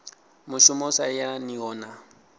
mushumo u sa yelaniho na